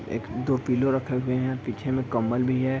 एक-दो पिलो रखे हुए हैं पीछे में कम्बल भी है |